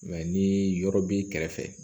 ni yɔrɔ b'i kɛrɛfɛ